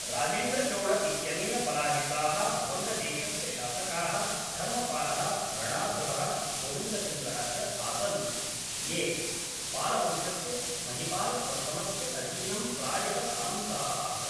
राजेन्द्रचोळ इत्यनेन पराजिताः वङ्गदेशस्य शासकाः धर्मपालः रणासुरः गोविन्दचन्द्रः च आसन् ये पालवंशस्य महिपालप्रथमस्य अधीनं प्रायः सामन्ताः आसन्